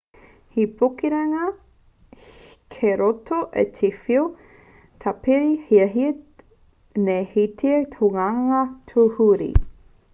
he pukenga kei roto i te whiu taipere e hiahiatia nei e te hunga tūruhi